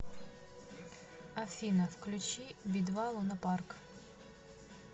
афина включи би два лунапарк